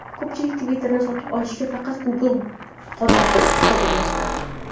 Ko‘pchilik Twitter’ni sotib olishga faqat Google qodir, deb hisoblamoqda.